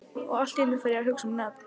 Og allt í einu fer ég að hugsa um nöfn.